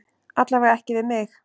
Alla vega ekki við mig.